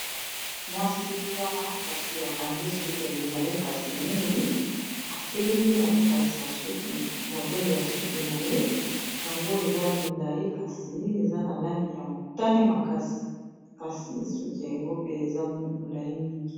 mwasii wana kasi bakangi ye suki ya milai kasi mingi atelemi azolakisa suki modele ya suki na ye yango eza milai kasi eza na langi ya motane makasi kasi suki yango pe eza milai mingi